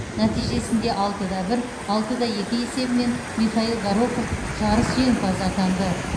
нәтижесінде алтыда бір алтыда екі есебімен михаил горохов жарыс жеңімпазы атанды